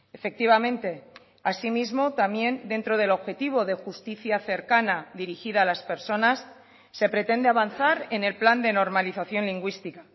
efectivamente así mismo también dentro del objetivo de justicia cercana dirigida a las personas se pretende avanzar en el plan de normalización lingüística